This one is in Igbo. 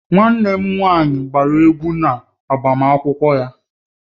Nwanne m nwanyị gbara egwu na agbamakwụkwọ ya